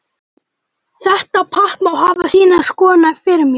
Þetta pakk má hafa sínar skoðanir fyrir mér.